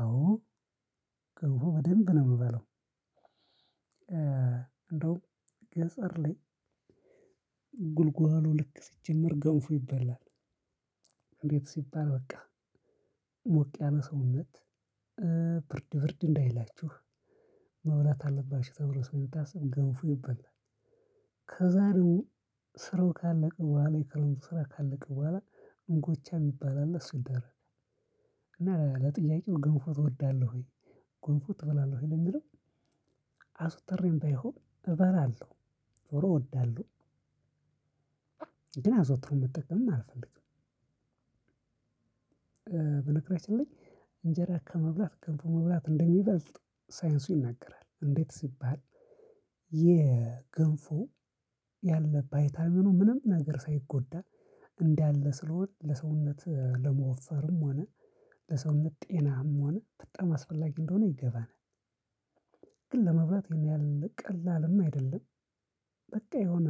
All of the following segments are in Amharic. አዎ በደንብ ነው የምበለው እንደውም ገጠር ላይ ጉልጓሎ ልክ ሲጀመር ገንፎ ይበላል እንዴት ሲባል በቃ ሞቅ ያለ ሰውነት ብርድ ብርድ እንዳይላችሁ መብላት አለባችሁ ተብሎ ስለሚታሰብ ገንፎ ይበላል። ከዛ ደግሞ ስራው ካለቀ በኋላ የክረምቱ ስራ ካለቀ በኋላ እንጎቻ የሚባል አለ እሱ ይደረጋል። እና ለጥያቄው ገንፎ ትወዳለህ ወይ ገንፎ ትበላለህ ወይ? ለሚለው አዘወትሬም ባይሆን እበራለሁ ዞሮ እወዳለሁ ግን አዘውትሮ መጠቀምም አልፈልግም። በነገራችን ላይ እንጀራ ከመብላት ገንፎ መብላት እንደሚበልጥ ሳይንሱ ይናገራል እንዴት ሲባል የገንፎ ያለ ቫይታሚን ምንም ነገር ሳይጎዳ እንዳለ ስለሆነ ለሰውነት ለመወፈርም ሆነ ለሰውነት ጤናም ሆነ በጣም አስፈላጊ እንደሆነ ይገባናል ግን ለመብላት ይሄን ያህል ቀላልም አይደለም በቃ የሆነ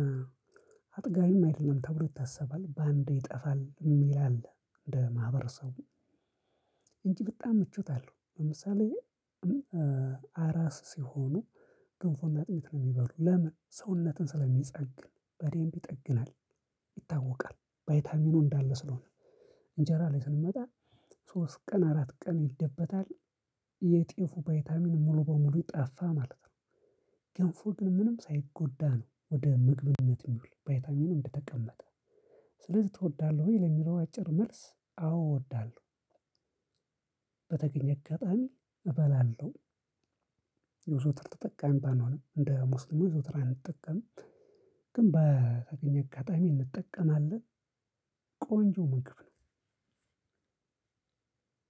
አጥጋቢም አይደለም ተብሎ ይታሰባል በአንዴ ይጠፋል የሚል አለ እንደ ማህበረሰቡ እንጂ በጣም ምቾት አለው ለምሳሌ አራስ ሲሆኑ ገንፎንና አጥሚት ነው የሚበሉ ለምን ሰውነትን ስለሚጠግን በደምብ ይጠግናል ይታወቃል ቫይታሚኑ እንዳለ ስለሆነ እንጀራ ላይ ስንመጣ ሶስት ቀን አራት ቀን ይደበታል የጤፉ ቫይታሚን ሙሉ በሙሉ ጠፋ ማለት ነው። ገንፎ ግን ምንም ሳይጎዳ ነው ወደ ምግብነት የሚውል ቫይታሚኑ እንደተቀመጠ ስለዚህ ትወዳለህ ወይ? ለሚለው አጭር መልስ አዎ አወዳለሁ በተገኘ አጋጣሚ እበላለሁ። የዘወትር ተጠቃሚ ባልሆንም እንደ ሙስሊሞች ዘወትር አንጠቀምም ግን በተገኘ አካባቢ እንጠቀማለን ቆንጆ ምግብ ነው።